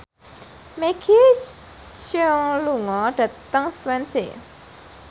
Maggie Cheung lunga dhateng Swansea